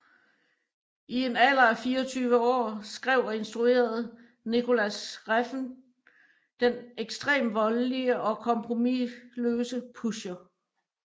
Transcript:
I en alder af 24 år skrev og instruerede Nicolas Refn den ekstremt voldelige og kompromisløse Pusher